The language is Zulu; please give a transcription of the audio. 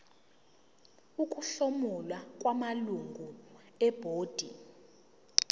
ukuhlomula kwamalungu ebhodi